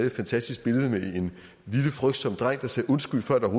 et fantastisk billede med en lille frygtsom dreng der sagde undskyld før der